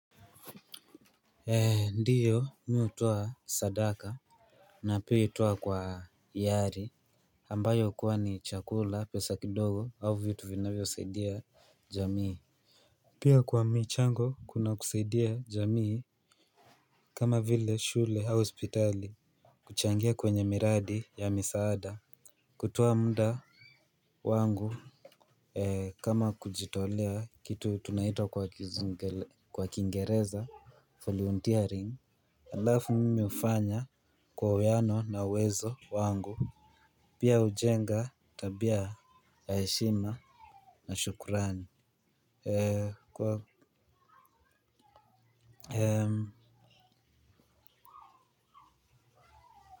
Ee ndiyo mi hutowa sadaka na pia hutoa kwa yari ambayo kuwa ni chakula pesa kidogo au vitu vinavyosaidia jamii pia kwa michango kuna kusaidia jamii kama vile shule au hospitali kuchangia kwenye miradi ya misaada kutoa mda wangu kama kujitolea kitu tunaita kwa kingereza volunteering alafu mimi ufanya kwa weano na uwezo wangu. Pia ujenga tabia ya heshima na shukurani. Eee kwa Eee.